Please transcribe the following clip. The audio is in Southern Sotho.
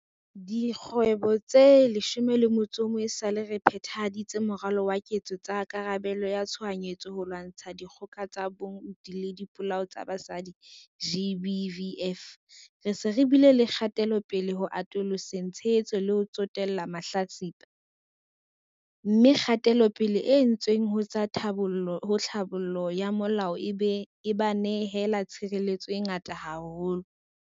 Dikgwedi tse 11 esale re phe-thahaditse Moralo wa Ketso tsa Karabelo ya Tshohanyetso ho lwantsha dikgoka tsa bong le dipolao tsa basadi, GBVF, re se re bile le kgatelopele ho atoloseng tshehetso le ho tsotella mahlatsipa, mme kgatelopele e entsweng ho tsa tlhabollo ya molao e ba nehela tshireletso e ngata haholo.